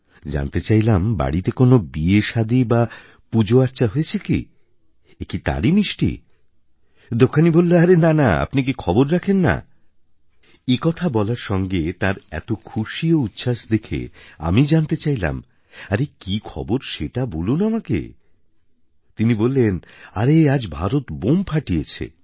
জানতে চাইলাম বাড়িতে কোনও বিয়েসাদী বা পুজোআর্চা হয়েছে কি এ কি তার মিষ্টি দোকানী বললো আরে না না আপনি কি খবর রাখেন না এ কথা বলার সঙ্গে তাঁর এত খুশি ও উচ্ছ্বাস দেখে আমি জানতে চাইলাম আরে কি খবর সেটা বলুন আমাকে তিনি বললেন আরে আজ ভারত বোম ফাটিয়েছে